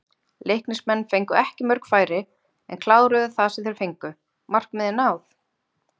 Leiknismenn fengu ekki mörg færi en kláruðu það sem þeir fengu, markmið náð?